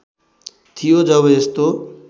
थियो जब यस्तो